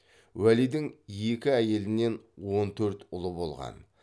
уәлидің екі әйелінен он төрт ұлы болған